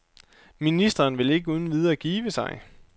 Ministeren vil ikke uden videre give sig.